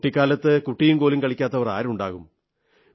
കുട്ടിക്കാലത്ത് കുട്ടിയും കോലും കളിക്കാത്തവർ ആരുണ്ടാകും